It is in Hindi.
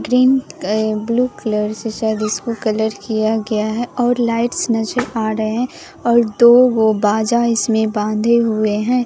प्रिंट ब्लू कलर से शायद इसको कलर किया गया है और लाइट्स नजर आ रहे हैं और दो वो बाजा इसमें बाधे हुए हैं।